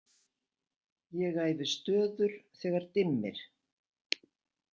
Ég æfi stöður, þegar dimmir.